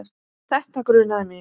Þetta grunaði mig.